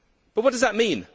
What does that mean?